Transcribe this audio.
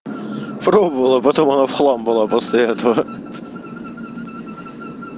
пробовала потом она в хлам была после этого